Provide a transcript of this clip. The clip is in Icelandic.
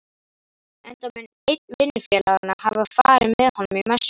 enda mun einn vinnufélaganna hafa farið með honum í messuna.